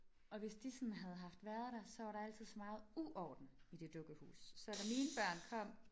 Og hvis de sådan havde haft været der så var der altid så meget uorden i det dukkehus så da mine børn kom